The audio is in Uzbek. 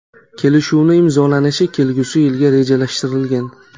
Kelishuvni imzolanishi kelgusi yilga rejalashtirilgan.